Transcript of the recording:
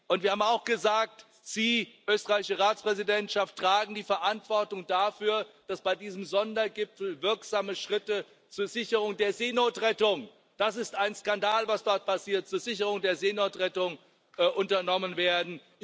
Und wir haben auch gesagt Sie, österreichische Ratspräsidentschaft, tragen die Verantwortung dafür, dass bei diesem Sondergipfel wirksame Schritte zur Sicherung der Seenotrettung das ist ein Skandal, was dort passiert unternommen werden.